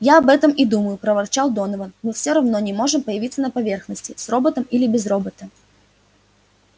я об этом и думаю проворчал донован мы всё равно не можем появиться на поверхности с роботом или без робота